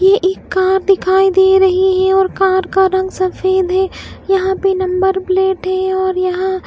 ये एक कार दिखाई दे रही है और कार का रंग सफेद है यहां पे नंबर प्लेट है और यहां--